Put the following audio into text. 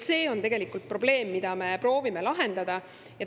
See on tegelikult probleem, mida me proovime lahendada.